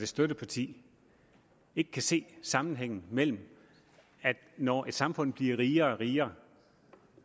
støtteparti ikke kan se sammenhængen mellem at når et samfund bliver rigere og rigere